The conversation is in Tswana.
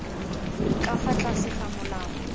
ka fa tlase ga molao